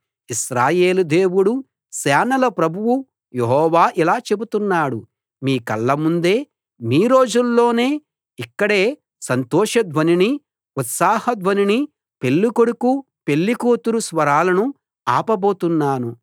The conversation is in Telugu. ఇశ్రాయేలు దేవుడు సేనల ప్రభువు యెహోవా ఇలా చెబుతున్నాడు మీ కళ్ళ ముందే మీ రోజుల్లోనే ఇక్కడే సంతోష ధ్వనినీ ఉత్సవ ధ్వనినీ పెళ్ళి కొడుకు పెళ్లి కూతురు స్వరాలనూ ఆపబోతున్నాను